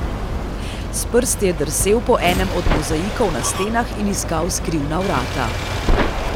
S prsti je drsel po enem od mozaikov na stenah in iskal skrivna vrata.